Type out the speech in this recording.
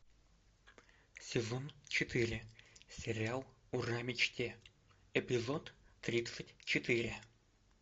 сезон четыре сериал ура мечте эпизод тридцать четыре